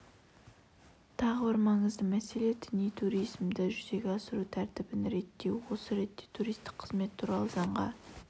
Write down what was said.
тағы бір маңызды мәселе діни туризмді жүзеге асыру тәртібін реттеу осы ретте туристік қызмет туралы заңға